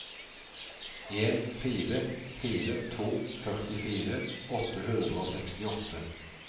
en fire fire to førtifire åtte hundre og sekstiåtte